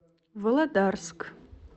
володарск